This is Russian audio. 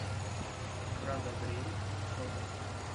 брадобрей фото